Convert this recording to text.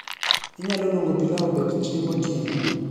inyalo luongo pilau obed chiemb otieno